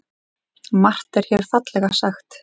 Margt er hér fallega sagt.